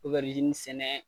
sɛnɛ,